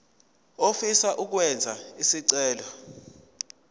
ofisa ukwenza isicelo